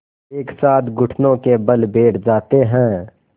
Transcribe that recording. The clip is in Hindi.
एक साथ घुटनों के बल बैठ जाते हैं